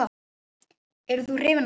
Yrðir þú hrifinn af því?